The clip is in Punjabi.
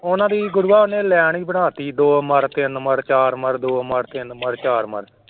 ਉਹਨਾਂ ਦੀ ਗੁਰੂਆ ਉਹਨੇ line ਹੀ ਬਣਾ ਦਿੱਤੀ ਦੋ ਮਰ, ਤਿੰਨ ਮਰ, ਚਾਰ ਮਰ, ਦੋ ਮਰ, ਤਿੰਨ ਮਰ, ਚਾਰ ਮਰ।